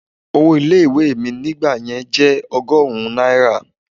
Owó ilé ìwé mi nígbà yẹn jẹ́ ọgọ́rùn-ún náírà.